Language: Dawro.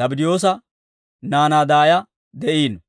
Zabddiyoosa naanaa daaya de'iino.